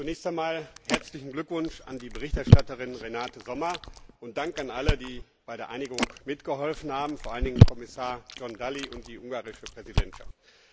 Zunächst einmal herzlichen Glückwunsch an die Berichterstatterin Renate Sommer und Dank an alle, die bei der Einigung mitgeholfen haben, vor allen Dingen Kommissar John Dalli und die ungarische Präsidentschaft.